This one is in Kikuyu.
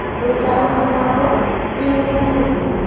Gũikarania na andũ ti ũndũ mũhũthũ